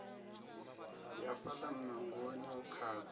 ya fhaḽa muṋangoni u khaḓa